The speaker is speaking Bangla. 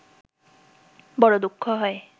বড় দুঃখ হয়